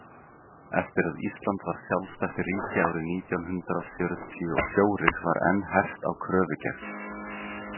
Eftir að Ísland varð sjálfstætt ríki árið nítján hundrað fjörutíu og fjórir var enn hert á kröfugerð.